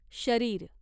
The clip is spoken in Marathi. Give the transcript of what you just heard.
शरीर